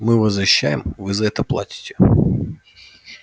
мы вас защищаем вы за это платите